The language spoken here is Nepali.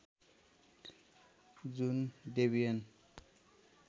जुन डेबियन